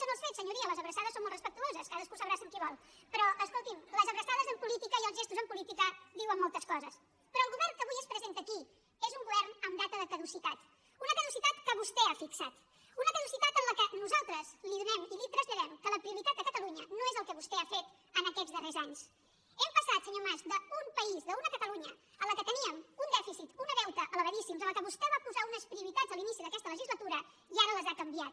nyoria les abraçades són molt respectuoses cadascú s’abraça amb qui vol però escolti’m les abraçades en política i els gestos en política diuen moltes coses però el govern que avui es presenta aquí és un govern amb data de caducitat una caducitat que vostè ha fixat una caducitat en què nosaltres li donem i li traslladem que la prioritat de catalunya no és el que vostre ha fet en aquests darrers anys hem passat senyor mas d’un país d’una catalunya en què teníem un dèficit un deute elevadíssims a la qual vostè va posar unes prioritats a l’inici d’aquesta legislatura i ara les ha canviat